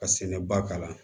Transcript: Ka sɛnɛ ba kalan